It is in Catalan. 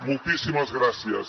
moltíssimes gràcies